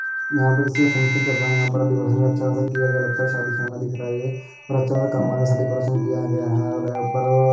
यहाँ पर किसी का फंक्शन चल रहा है यहाँ पर डेकोरेशन अच्छा खासा किया गया है लगता है शादी खाना दिख रहा है ये और अच्छा सा काम अनुसार डेकोरेशन किया गया है और ऊपर --